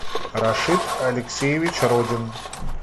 рашид алексеевич родин